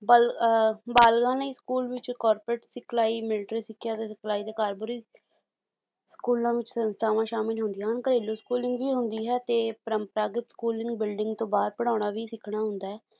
ਬਲ ਅਹ ਬਲਨਿਕੀ school ਵਿੱਚ corporate ਸਿਖਲਾਈ ਮਿਲਟਰੀ ਸਿੱਖਿਆ ਦੇ ਸਿਖਲਾਈ ਦੇ ਕਾਰਬੋਰੀ ਸਕੂਲਾਂ ਵਿੱਚ ਸੰਸਥਾਵਾਂ ਸ਼ਾਮਿਲ ਹੁੰਦੀਆਂ ਹਨ ਘਰੇਲੂ ਸਕੂਲਿੰਗ ਵੀ ਹੁੰਦੀ ਹੈ ਤੇ ਪਰੰਪਰਾਗਤ ਸਕੂਲਿੰਗ ਬਿਲਡਿੰਗ ਤੋਂ ਬਾਅਦ ਪੜ੍ਹਾਉਣਾ ਵੀ ਸਿੱਖਣਾ ਹੁੰਦਾ ਹੈ।